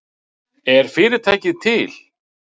Er fyrirtækið til